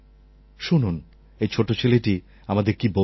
শুনুন এই ছোট ছেলেটি আমাদের কী বলছে